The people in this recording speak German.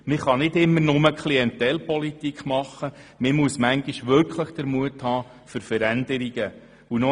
Man kann nicht immer nur Klientelpolitik betreiben, man muss manchmal den Mut zu Veränderungen haben.